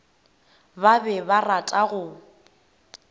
ba be ba rata go